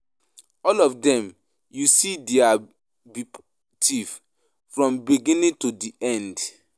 All of dem you see there be thief, from beginning to end.